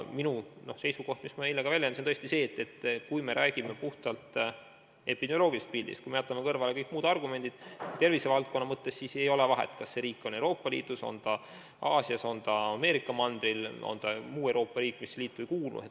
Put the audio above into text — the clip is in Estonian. Minu seisukoht, mida ma eile ka väljendasin, on see, et kui me räägime puhtalt epidemioloogilisest pildist, kui me jätame kõrvale kõik muud tervist puudutavad argumendid, siis ei ole vahet, kas tegu on Euroopa Liidu, Aasia, Ameerika mandri või Euroopa Liitu mittekuuluva riigiga.